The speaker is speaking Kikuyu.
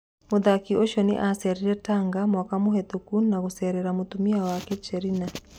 Mũthaki ũcio nĩ acerire Tanga mwaka mũhetũkũ na gũcerera mũtumia wake Cherina.